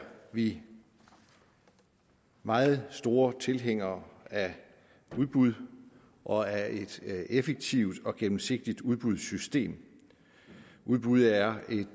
vi meget store tilhængere af udbud og af et effektivt og gennemsigtigt udbudssystem udbud er et